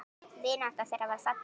Vinátta þeirra var falleg.